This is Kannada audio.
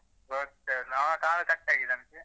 ಗೊತ್ತೇ ಆಗುದಿಲ್ಲ ಕಾಲೇ cut ಆಗಿದೆಯಂತೆ.